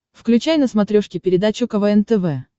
включай на смотрешке передачу квн тв